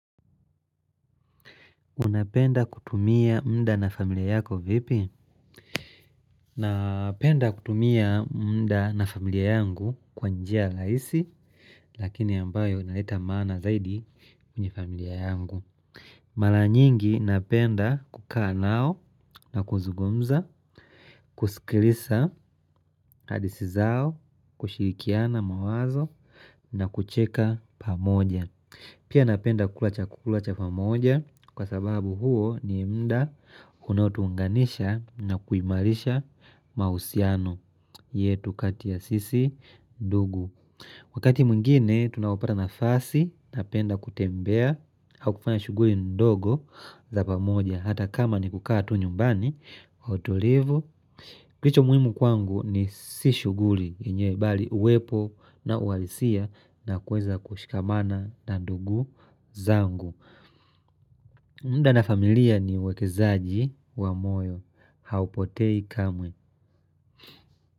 Unapenda kutumia mda na familia yako vipi? Napenda kutumia muda na familia yangu kwa njia rahisi, lakini ambayo inaleta maana zaidi kwenye familia yangu. Mara nyingi, napenda kukaa nao na kuzungumza, kusikiliza hadithii zao, kushirikiana mawazo na kucheka pamoja. Pia napenda kuku cha pamoja kwa sababu huo ni mda unautuunganisha na kuimarisha mausiano yetu katia sisi ndugu. Wakati mwingine tunapopata nafasi napenda kutembea au kufanya shughuli ndogo za pamoja hata kama ni kukaa tu nyumbani kwa utlivu. Kilicho muhimu kwangu ni si shughuli yenyewe bali uwepo na uhalisia na kweza kushikamana na ndugu zangu. Muda na familia ni uwekezaji wa moyo haupotei kamwe.